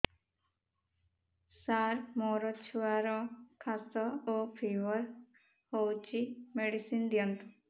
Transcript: ସାର ମୋର ଛୁଆର ଖାସ ଓ ଫିବର ହଉଚି ମେଡିସିନ ଦିଅନ୍ତୁ